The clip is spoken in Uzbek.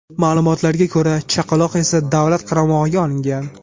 Ma’lumotlarga ko‘ra, chaqaloq esa davlat qaramog‘iga olingan.